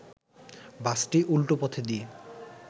বাসটি উল্টো পথ দিয়ে